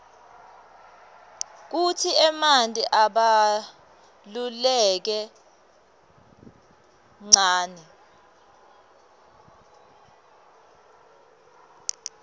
kutsi emanti abaluleke nqani